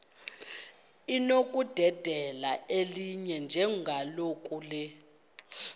linokudedela elinye njengakule